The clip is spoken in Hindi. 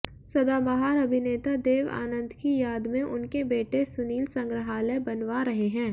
सदाबहार अभिनेता देव आनंद की याद में उनके बेटे सुनील संग्रहालय बनवा रहे हैं